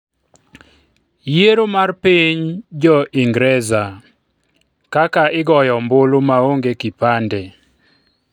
yiero mar piny Jo-Ingreza:kaka igoyo ombulu maonge kipande